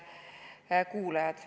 Head kuulajad!